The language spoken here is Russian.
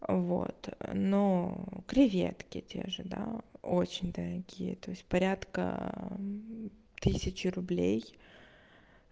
вот но креветки те же да ожидал очень дорогие то есть порядка тысячи рублей